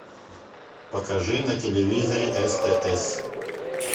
покажи на телевизоре стс